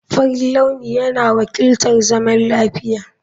Farin launi yana wakiltar zaman lafiya.